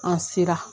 An sera